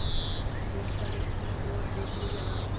मैं सड़क की ओर देखने लगा